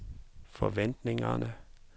forventningerne